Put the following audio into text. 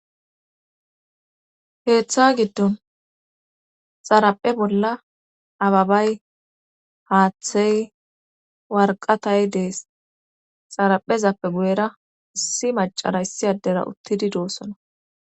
Keetha giddon xaraphe bolla ababay haathey warqqata dees xaraphezappe guyera issi maccara issi addera uttidi doososna.